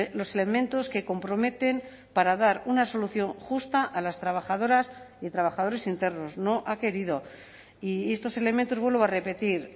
los elementos que comprometen para dar una solución justa a las trabajadoras y trabajadores internos no ha querido y estos elementos vuelvo a repetir